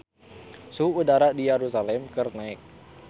Suhu udara di Yerusalam keur naek